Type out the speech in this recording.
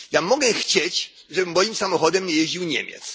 Ja mogę chcieć, żeby moim samochodem nie jeździł Niemiec.